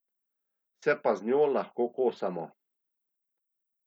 Se pa z njo lahko kosamo.